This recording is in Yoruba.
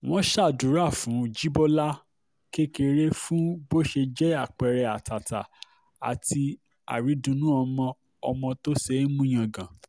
wọ́n ṣàdúrà fún jìbọlà kékeré fún bó ṣe jẹ́ àpẹẹrẹ àtàtà àti àrídunnú ọmọ ọmọ tó ṣeé mú yangàn